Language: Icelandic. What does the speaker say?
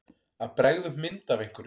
Að bregða upp mynd af einhverju